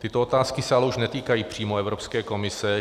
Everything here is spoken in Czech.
Tyto otázky se ale už netýkají přímo Evropské komise.